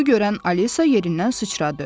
Bunu görən Alisa yerindən sıçradı.